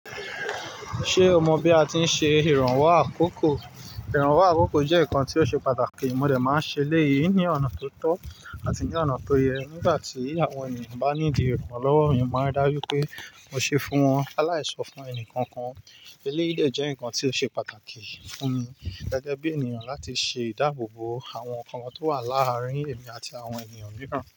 Ṣe o mọ bí a ti n ṣe ìrànwọ́ àkókò? Ìrànwọ́ àkókò jẹ nǹkan ti o ṣe pàtàkì, mo dẹ̀ máa ń ṣẹ elèyíi ni ọ̀nà ti o tọ àti ní ọ̀nà ti o yẹ. Nígbàtí àwọn ènìyàn bá need ìrànlọ́wọ́, èèyàn máa ń rí dáju pé mo ṣe fún wọn. Lalaí ṣo fún ẹnì kankan. Eléyìí de jẹ nǹkan ti o ṣe pàtàkì fún mi gẹ́gẹ́ bí ènìyàn láti ṣe ìdáàbòbò àwọn nǹkan kan to wa láàrin èmi àti àwọn ènìyàn mìíràn.